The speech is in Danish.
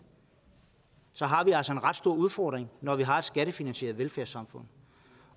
så har vi altså en ret stor udfordring når vi har et skattefinansieret velfærdssamfund